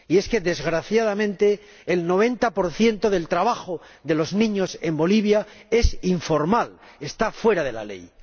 Y es que, desgraciadamente, el 90 del trabajo de los niños en Bolivia es informal, está fuera de la ley.